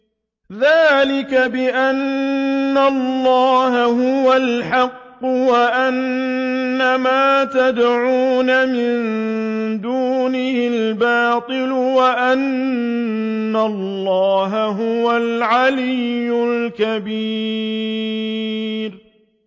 ذَٰلِكَ بِأَنَّ اللَّهَ هُوَ الْحَقُّ وَأَنَّ مَا يَدْعُونَ مِن دُونِهِ الْبَاطِلُ وَأَنَّ اللَّهَ هُوَ الْعَلِيُّ الْكَبِيرُ